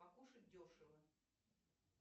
покушать дешево